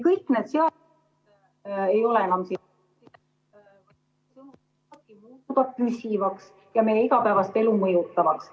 Kõik need seadused ...... ei ole enam ... muutuvad püsivaks ja meie igapäevast elu mõjutavaks.